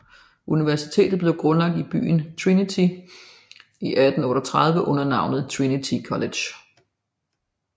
Universitetet blev grundlagt i byen Trinity i 1838 under navnet Trinity College